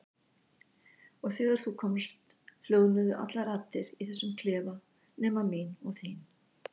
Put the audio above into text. Og þegar þú komst hljóðnuðu allar raddir í þessum klefa nema mín og þín.